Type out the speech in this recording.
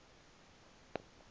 okasandile